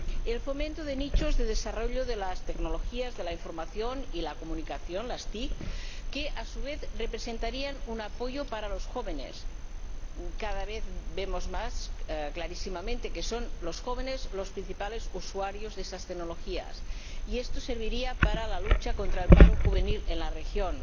el fomento de nichos de desarrollo de las tecnologías de la información y la comunicación que, a su vez, representarían un apoyo para los jóvenes —es cada vez más claro que son los jóvenes los principales usuarios de esas tecnologías, y esto serviría para la lucha contra el paro juvenil en la región